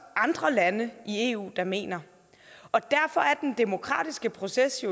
andre lande i eu der mener og derfor er den demokratiske proces i